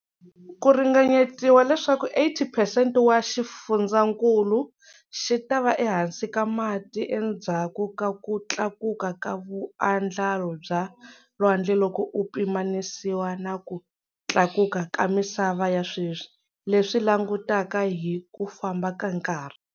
Ku ringanyetiwa leswaku 80 percent wa xifundzhankulu xi ta va ehansi ka mati endzhaku ka ku tlakuka ka vuandlalo bya lwandle loko ku pimanisiwa na ku tlakuka ka misava ya sweswi, leswi langutaka hi ku famba ka nkarhi.